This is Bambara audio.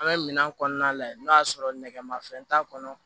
An bɛ minɛn kɔnɔna lajɛ n'o y'a sɔrɔ nɛgɛmafɛn t'a kɔnɔ